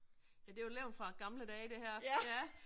Ja det jo levn fra gamle dage det her ja